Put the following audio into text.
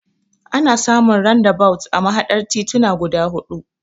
Ana samun randabawut a mahaɗar tituna guda huɗu.